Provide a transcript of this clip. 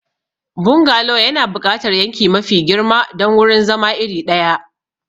Bungalow yana buƙatar yanki mafi girma don wurin zama iri ɗaya.